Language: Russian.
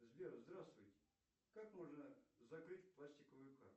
сбер здравствуйте как можно закрыть пластиковую карту